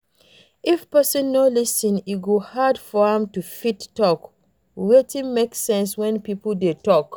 If person no lis ten e go hard for am to fit talk wetin make sense when pipo dey talk